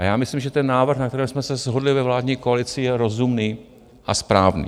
A já myslím, že ten návrh, na kterém jsme se shodli ve vládní koalici, je rozumný a správný.